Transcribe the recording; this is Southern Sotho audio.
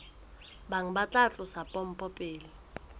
bang ba tlosa pompo pele